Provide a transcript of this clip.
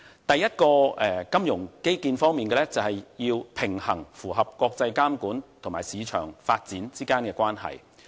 第一個金融基建方面的是，平衡符合國際監管與市場發展之間的關係。